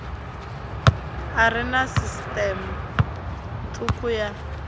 are na sisiṱeme thukhu ya